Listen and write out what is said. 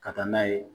Ka taa n'a ye